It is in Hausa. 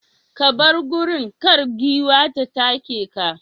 ka bar gurin, kar giwan ta take ka.